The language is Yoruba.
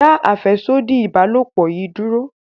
dá afẹsodi ìbálòpọ̀ yí dúró!